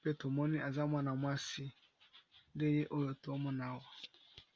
pe tomoni aza mwana mwasi ndeye oyo tomonawa.